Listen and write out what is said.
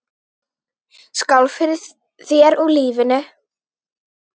Skál fyrir þér og lífinu.